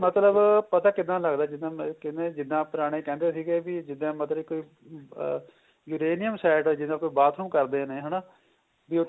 ਮਤਲਬ ਪਤਾ ਕਿੱਦਾ ਲੱਗਦਾ ਜਿੱਦਾ ਕਹਿਨੇ ਜਿੱਦਾ ਪੁਰਾਣੇ ਕਹਿੰਦੇ ਸੀਗੇ ਬੀ ਜਿੱਦਾ ਮਤਲਬ ਕੋਈ ਆ uranium side ਜਿੱਦਾ ਕੋਈ bathroom ਕਰਦੇ ਨੇ ਹਨਾ ਬੀ